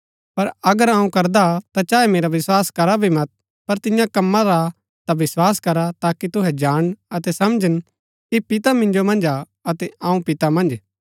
पर अगर अऊँ करदा हा ता चाहे मेरा विस्वास करा भी मत पर तियां कम्मा रा ता विस्वास करा ताकि तुहै जाणन अतै समझन कि पिता मिन्जो मन्ज हा अतै अऊँ पिता मन्ज